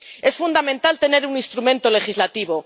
Es fundamental tener un instrumento legislativo.